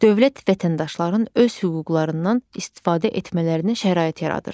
Dövlət vətəndaşların öz hüquqlarından istifadə etmələrinə şərait yaradır.